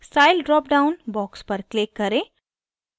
style dropdown box पर click करें